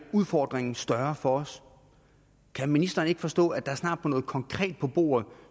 udfordringen større for os kan ministeren ikke forstå at der snart må noget konkret på bordet